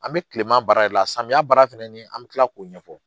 An bɛ kile ma baara de la samiya baara fɛnɛ ni an bɛ tila k'o ɲɛfɔ